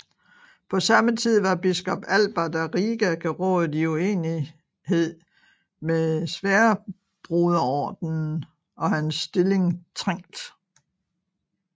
På samme tid var biskop Albert af Riga gerådet i uenighed med Sværdbroderordenen og hans stilling trængt